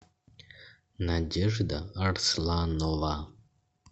надежда арсланова